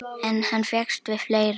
En hann fékkst við fleira.